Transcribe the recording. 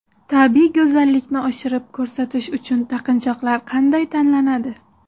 Tabiiy go‘zallikni oshirib ko‘rsatish uchun taqinchoqlar qanday tanlanadi?